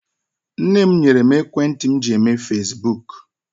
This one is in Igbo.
Nne m nyere mụ ekwentị m ji eme fasibuuku.